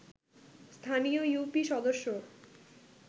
স্থানীয় ইউপি সদস্য